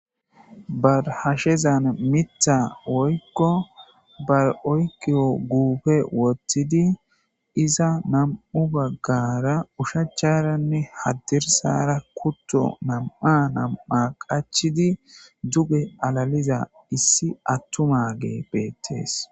Barhashezan mitha woykko bar7oykiyo guufe wothtidi iza nam7u baggara ushacharanne haddirsara kutto nam7a nam7a qachidi duge alaliza issi attumage beettees